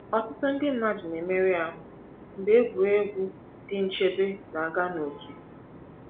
Ọtụtụ ndị mmadụ na-emerụ ahụ mgbe egwuregwu dị nchebe na-aga n’oké.